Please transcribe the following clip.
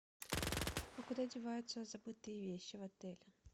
а куда деваются забытые вещи в отеле